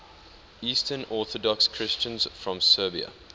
eastern orthodox christians from serbia